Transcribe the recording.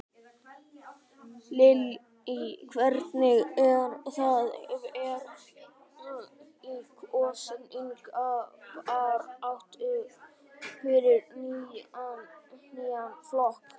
Lillý: Hvernig er það vera í kosningabaráttu fyrir nýjan flokk?